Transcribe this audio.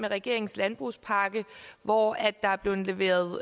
regeringens landbrugspakke hvor der er blevet leveret